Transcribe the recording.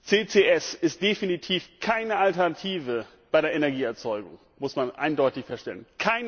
CCS ist definitiv keine Alternative bei der Energieerzeugung, muss man eindeutig feststellen.